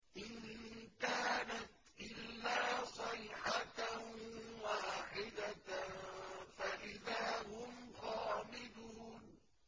إِن كَانَتْ إِلَّا صَيْحَةً وَاحِدَةً فَإِذَا هُمْ خَامِدُونَ